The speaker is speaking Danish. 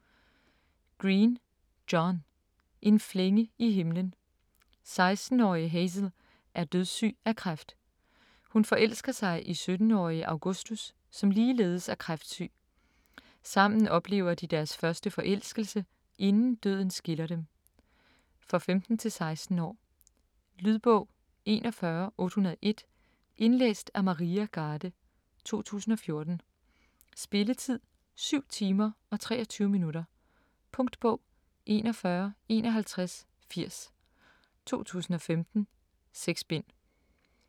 Green, John: En flænge i himlen 16-årige Hazel er dødssyg af kræft. Hun forelsker sig i 17-årige Augustus som ligeledes er kræftsyg. Sammen oplever de deres første forelskelse, inden døden skiller dem. For 15-16 år. Lydbog 41801 Indlæst af Maria Garde, 2014. Spilletid: 7 timer, 23 minutter. Punktbog 415180 2015. 6 bind.